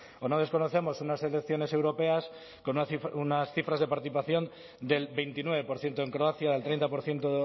o no desconocemos unas elecciones europeas con unas cifras de participación del veintinueve por ciento en croacia el treinta por ciento